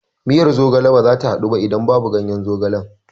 Miyar zogale bazata haɗu ba idan babu ganyen zogalen